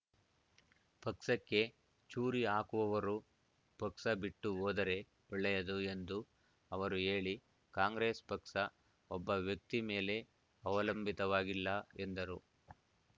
ಪಕ್ಷಕ್ಕೆ ಚೂರಿ ಹಾಕುವವರು ಪಕ್ಷ ಬಿಟ್ಟು ಹೋದರೆ ಒಳ್ಳೆಯದು ಎಂದು ಅವರು ಹೇಳಿ ಕಾಂಗ್ರೆಸ್ ಪಕ್ಷ ಒಬ್ಬ ವ್ಯಕ್ತಿ ಮೇಲೆ ಅವಲಂಬಿತವಾಗಿಲ್ಲ ಎಂದರು